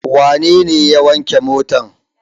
Wane ne ya wanke motar?